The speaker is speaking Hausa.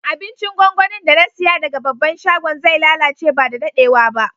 Abincin gwangwanin da na siya daga babban shagon zai lallace ba da daddewa ba.